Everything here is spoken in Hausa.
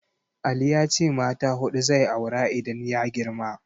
Ali ya ce mata huɗu zai aura idan ya girma.